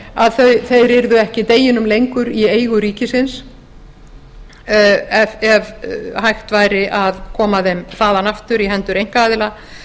að þeir yrðu ekki deginum lengur í eigu ríkisins ef hægt væri að koma þeim þaðan aftur í hendur einkaaðila